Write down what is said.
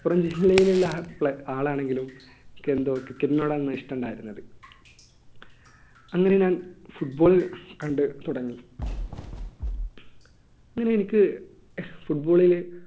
മലപ്പുറം ജില്ലയിലുള്ള ആളാണെങ്കിലും എനിക്ക് എന്തോ cricket നോട് ആയിരുന്നു ഇഷ്ടം ഉണ്ടായിരുന്നത് അങ്ങനെ ഞാൻ football കണ്ടു തുടങ്ങി അങ്ങനെ എനിക്ക് football ല്